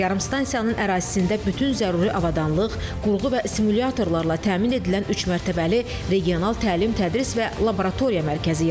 Yarımstansiyanın ərazisində bütün zəruri avadanlıq, qurğu və simulyatorlarla təmin edilən üçmərtəbəli regional təlim-tədris və laboratoriya mərkəzi yaradılıb.